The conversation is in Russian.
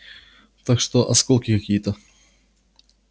так что осколки какие-то